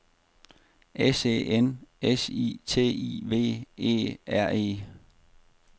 S E N S I T I V E R E